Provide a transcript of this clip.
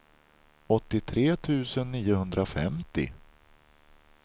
åttiotre tusen niohundrafemtio